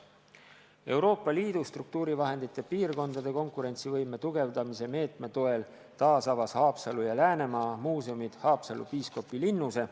Euroopa Liidu struktuurivahendite piirkondade konkurentsivõime tugevdamise meetme toel taasavas SA Haapsalu ja Läänemaa Muuseumid Haapsalu piiskopilinnuse.